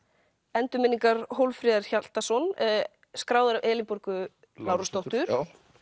endurminningar Hólmfríðar Hjaltason skráðar af Elínborgu Lárusdóttur